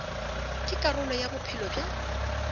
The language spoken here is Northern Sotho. ke karolo ya bophelo bja